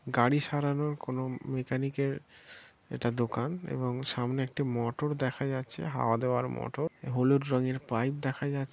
গাড়ি সারানোর কোনো মেকানিক এর এটা দোকান এবং সামনে একটি মটর দেখা যাচ্ছে হাওয়া দেওয়ার মটর হলুদ রঙের পাইপ দেখা যা--